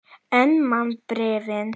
En man bréfin.